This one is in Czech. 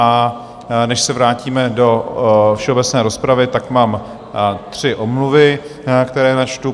A než se vrátíme do všeobecné rozpravy, tak mám tři omluvy, které načtu.